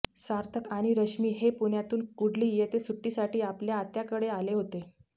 सार्थक आणि रश्मी हे पुण्यातून कुडली येथे सुट्टीसाठी आपल्या आत्याकडे आले होते